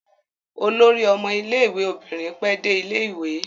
Olórí ọmọ ilé-ìwé obìnrin pẹ́ dé ilé-ìwé.